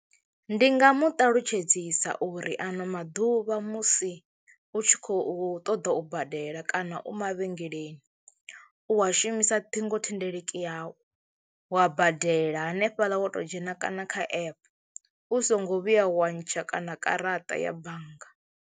Ndi nga mu ṱalutshedzisa uri ano maḓuvha musi u tshi khou ṱoḓa u badela kana u mavhengeleni u wa shumisa ṱhingothendeleki yau wa badela hanefhaḽa wa to dzhena kana kha app u songo vhuya wa ntsha kana karaṱa ya bannga.